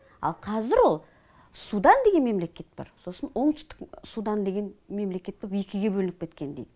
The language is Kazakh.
ал қазір ол судан деген мемлекет бар сосын оңтүстік судан деген мемлекет боп екіге бөлініп кеткен дейді